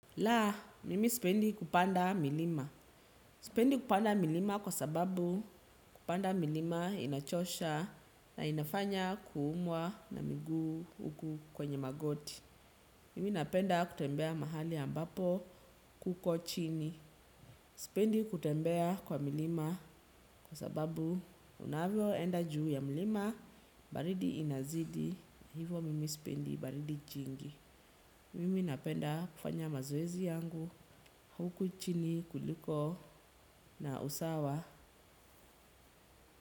La, mimi sipendi kupanda milima. Sipendi kupanda milima kwa sababu kupanda milima inachosha na inafanya kuumwa na miguu huku kwenye magoti. Mimi napenda kutembea mahali ambapo kuko chini. Sipendi kutembea kwa milima kwa sababu unaavyo enda juu ya milima baridi inazidi hivyo mimi sipendi baridi jingi. Mimi napenda kufanya mazoezi yangu huku chini kuliko na usawa.